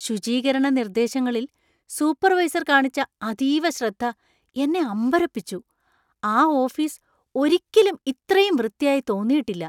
ശുചീകരണ നിർദ്ദേശങ്ങളിൽ സൂപ്പർവൈസർ കാണിച്ച അതീവ ശ്രദ്ധ എന്നെ അമ്പരപ്പിച്ചു. ആ ഓഫീസ് ഒരിക്കലും ഇത്രയും വൃത്തിയായി തോന്നിയിട്ടില്ല!.